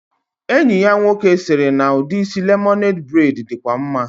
Enyi ya nwoke siri na udi isi lemonade braid dikwa maa